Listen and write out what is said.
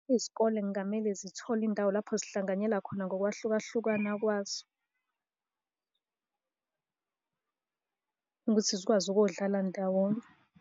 Izikole kungamele zithole indawo lapho zihlanganyela khona ngokwahlukahlukana kwazo, ukuthi zikwazi ukuyodlala ndawonye.